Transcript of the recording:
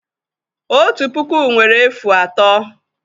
Otu puku nwere efu atọ.